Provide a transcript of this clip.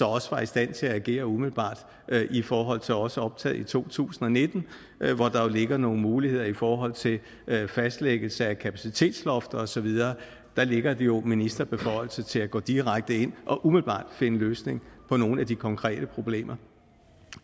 også var i stand til at agere umiddelbart i forhold til også at optage i to tusind og nitten hvor der jo ligger nogle muligheder i forhold til fastlæggelse af kapacitetsloft og så videre der ligger jo en ministerbeføjelse til at gå direkte ind og umiddelbart finde en løsning på nogle af de konkrete problemer